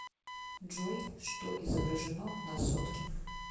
джой что изображено на сотке